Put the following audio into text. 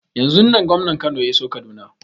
Yanzun nan gwamnan Kano ya iso kaduna